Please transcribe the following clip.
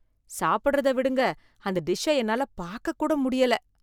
சாப்பிடுறத விடுங்க, அந்த டிஷ்ஷ என்னால பாக்கக் கூட முடியல.